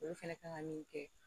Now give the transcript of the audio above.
Olu fɛnɛ kan ka min kɛ